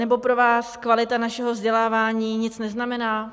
Nebo pro vás kvalita našeho vzdělávání nic neznamená?